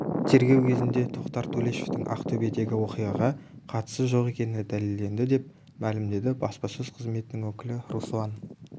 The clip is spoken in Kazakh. тергеу кезінде тоқтар төлешовтің ақтөбедегі оқиғаға қатысы жоқ екені дәлелденді деп мәлімдеді баспасөз қызметінің өкілі руслан